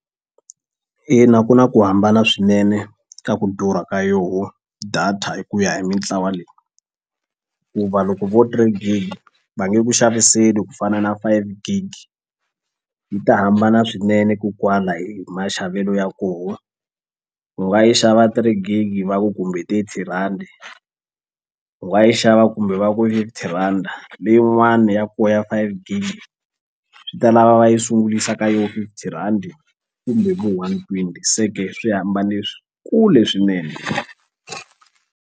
Ina ku na ku hambana swinene ka ku durha ka yoho data hi ku ya hi mintlawa leyi ku va loko vo three gig va nge ku xaviseli ku fana na five gig yi ta hambana swinene kokwala hi hi maxavelo ya koho u nga yi xava three gig va ku kumbe thirty rhandi u nga yi xava kumbe va ku rhanda leyin'wani ya kona ya five gig swi ta lava va yi sungulisa ka yo fifty rhandi kumbe vo one twenty se ke swi hambane kule swinene.